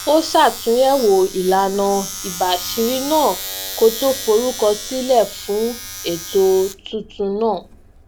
ó ṣàtunyẹwò ìlànà ìbaṣiri náà kó tó forúkọ sílẹ fún ètò tuntun náà